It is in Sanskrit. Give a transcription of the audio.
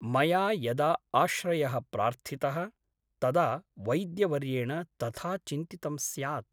मया यदा आश्रयः प्रार्थितः तदा वैद्यवर्येण तथा चिन्तितं स्यात् ।